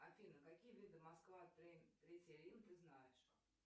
афина какие виды москва третий рим ты знаешь